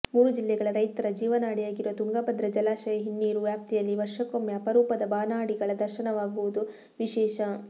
ಮೂರು ಜಿಲ್ಲೆಗಳ ರೈತರ ಜೀವನಾಡಿಯಾಗಿರುವ ತುಂಗಭದ್ರಾ ಜಲಾಶಯ ಹಿನ್ನೀರು ವ್ಯಾಪ್ತಿಯಲ್ಲಿ ವರ್ಷಕ್ಕೊಮ್ಮೆ ಅಪರೂಪದ ಬಾನಾಡಿಗಳ ದರ್ಶನವಾಗುವುದು ವಿಶೇಷ